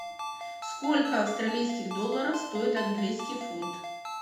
сколько австралийских долларов стоит английский фунт